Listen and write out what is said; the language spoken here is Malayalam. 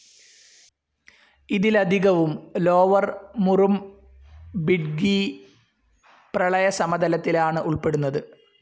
ഇതിലധികവും ലോവർ മുറുംബിഡ്ഗീ പ്രളയസമതലത്തിലാണ് ഉൾപ്പെടുന്നത്.